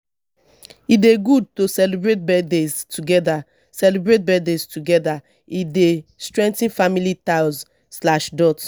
e dey good to celebrate birthdays together; celebrate birthdays together; e dey strengthen family ties.